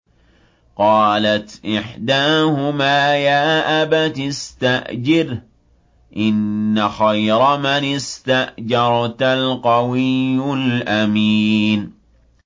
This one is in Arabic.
قَالَتْ إِحْدَاهُمَا يَا أَبَتِ اسْتَأْجِرْهُ ۖ إِنَّ خَيْرَ مَنِ اسْتَأْجَرْتَ الْقَوِيُّ الْأَمِينُ